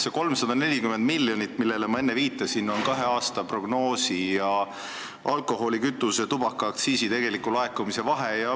See 340 miljonit, millele ma enne viitasin, on kahe aasta prognoosi ning alkoholi-, kütuse- ja tubakaaktsiisi tegeliku laekumise vahe.